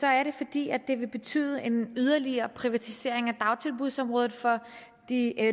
er det fordi det vil betyde en yderligere privatisering af dagtilbudsområdet for de